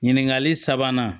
Ɲininkali sabanan